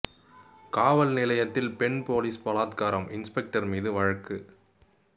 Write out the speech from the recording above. காவல் நிலையத்தில் பெண் போலீஸ் பலாத்காரம் இன்ஸ்பெக்டர் மீது வழக்கு